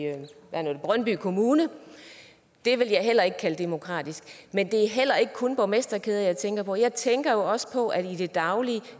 brøndby kommune det ville jeg heller ikke kalde demokratisk men det er heller ikke kun borgmesterkæder jeg tænker på for jeg tænker også på at i det daglige